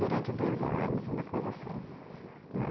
Durante dois anos, uma coisa assim, né